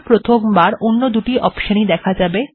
প্রথমবার এ কিন্তু এই দুটি অপশন ই দেখা যাবে